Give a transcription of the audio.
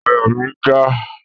Àyà mi n já